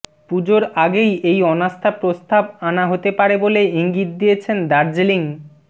পুজোর আগেই এই অনাস্থা প্রস্তাব আনা হতে পারে বলে ইঙ্গিত দিয়েছেন দার্জিলিং